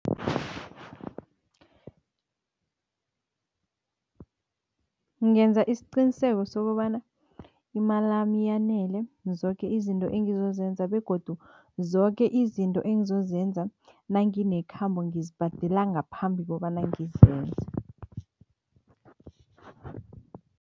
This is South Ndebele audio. Ngenza isiqiniseko sokobana imalami yanele zoke izinto engizozenza begodu zoke izinto engizozenza nanginekhambo ngizibhadela ngaphambi kobana ngizenze.